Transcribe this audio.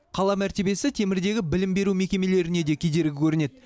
қала мәртебесі темірдегі білім беру мекемелеріне де кедергі көрінеді